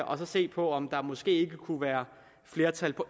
og så se på om der måske ikke kunne være flertal på